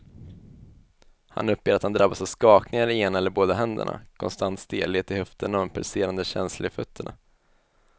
Han uppger att han drabbas av skakningar i ena eller båda händerna, konstant stelhet i höfterna och en pulserande känsla i fötterna.